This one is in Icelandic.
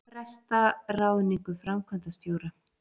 Fresta ráðningu framkvæmdastjóra